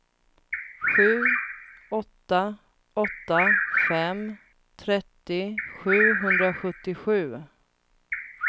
sju åtta åtta fem trettio sjuhundrasjuttiosju